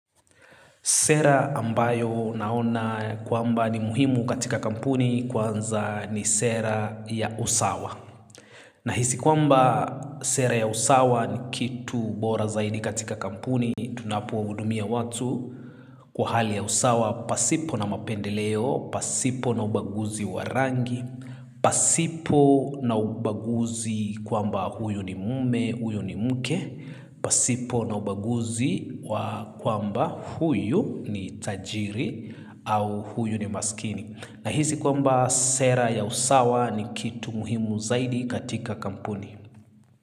Sera ambayo naona kwamba ni muhimu katika kampuni kwanza ni sera ya usawa. Nahisi kwamba sera ya usawa ni kitu bora zaidi katika kampuni tunapo hudumia watu kwa hali ya usawa. Pasipo na mapendeleo, pasipo na ubaguzi wa rangi, pasipo na ubaguzi kwamba huyu ni mume, huyu ni mke, pasipo na ubaguzi kwamba huyu ni tajiri au huyu ni maskini na hisi kwamba sera ya usawa ni kitu muhimu zaidi katika kampuni.